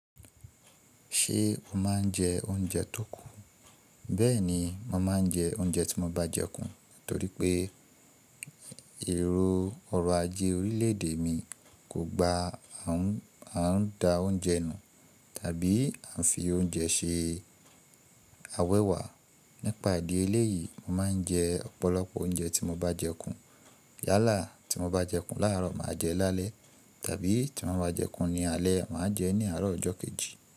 Ṣé o máa ń jẹ oúnjẹ tó kù? Bẹ́ẹ̀ni, mo máa ń jẹ oúnjẹ tí mo bá jẹkù, torí pé èrò ọrọ̀ ajé orílè èdè mi kò gba a n à ń dá oúnjẹ nù tàbí à ń fi oúnjẹ ṣe awéwà. Nípa ìdí eléyìí, mo máa ń jẹ ọ̀pọ̀lọpọ̀ oúnjẹ tí mo bá jẹkù. Yálà tí mo bá jẹkù láàárọ̀, màá jẹ ẹ́ lálẹ́ tàbí tí mo bá jẹkù ní alé, màá jẹ ẹ́ ní àárọ̀ ọjọ́ kejì.